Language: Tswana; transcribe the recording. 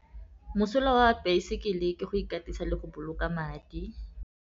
Mosola wa baesekele ke go ikatisa le go boloka madi.